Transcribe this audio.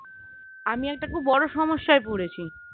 আমি একটা খুব বড়ো সমস্যায় পড়েছি